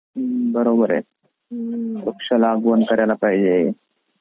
हं बरोबर आहे वृक्ष लागवण करायला पाहजे.